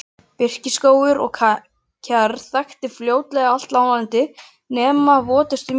Birkiskógur og kjarr þakti fljótlega allt láglendi nema votustu mýrar.